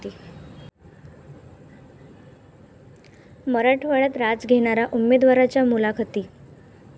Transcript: मराठवाड्यात राज घेणार उमेदवारांच्या मुलाखती